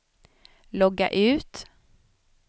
logga ut